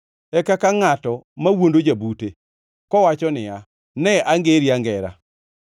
e kaka ngʼato mawuondo jabute kowacho niya, “Ne angeri angera!”